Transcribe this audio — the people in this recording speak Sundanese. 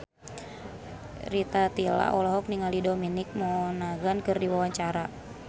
Rita Tila olohok ningali Dominic Monaghan keur diwawancara